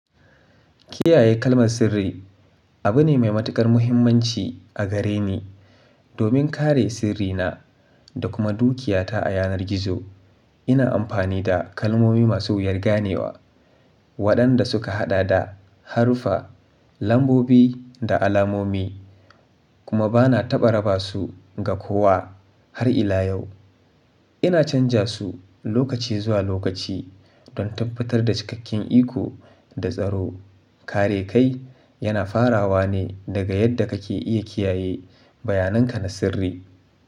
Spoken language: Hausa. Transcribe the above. Kiyaye kalmar sirri abu ne mai matuƙar muhimmanci a gare ni. Domin kare sirrina da kuma dukiyata a yanar gizo, ina amfani da kalmomi masu wuyar ganewa waɗanda suka haɗa da haruffa, lambobi da alamomi kuma ba na taɓa raba su ga kowa har ila yau. Ina canza su lokaci zuwa lokaci don tabbatar da cikakken iko da tsaro. Kare kai yana farawa ne daga yadda kake iya kiyaye bayanan ka na sirri.